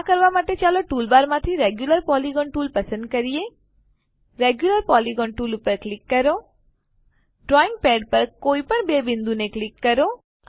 આ કરવા માટે ચાલો ટૂલ બારમાંથી રેગ્યુલર પોલિગોન ટૂલ પસંદ કરીએ રેગ્યુલર પોલિગોન ટૂલ પર ક્લિક કરો ડ્રોઈંગ પેડ પર કોઈપણ બે બિંદુને ક્લિક કરો